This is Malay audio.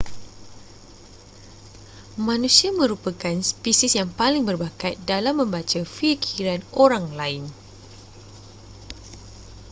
manusia merupakan spesies yang paling berbakat dalam membaca fikiran orang lain